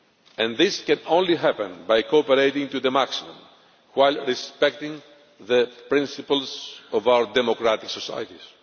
And this can only happen by cooperating to the maximum while respecting the principles of our democratic societies.